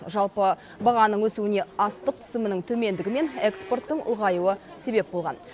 жалпы бағаның өсуіне астық түсімінің төмендігі мен экспорттың ұлғаюы себеп болған